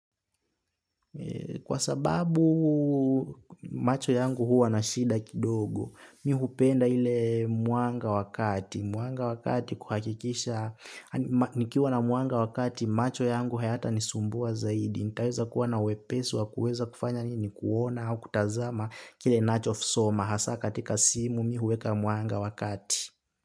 Kwa sababu macho yangu huwa na shida kidogo, mi hupenda ile mwanga wa kati, mwanga wa kati kuhakikisha, nikiwa na mwanga wa kati macho yangu hayatanisumbua zaidi, nitaweza kuwa na wepesi wa kuweza kufanya nini, kuona au kutazama kile ninacho soma, hasa katika simu mi huweka mwanga wa kati.